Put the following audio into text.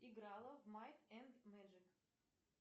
играла в майт энд мэджик